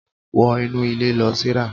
wo inú ilé lo, Sarah